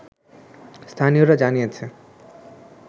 স্থানীয়রা জানিয়েছে